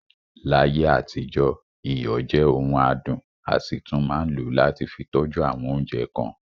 Láyé àtijọ́, iyọ̀ jẹ ọ̀ún àdùn, a sì tún máa ń lò ó láti fì tọ́jú awọn oúnjẹ kan.